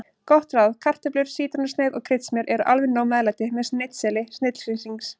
Gott ráð: Kartöflur, sítrónusneið og kryddsmjör eru alveg nóg meðlæti með snitseli snillingsins.